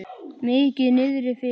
Mikið niðri fyrir.